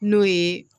N'o ye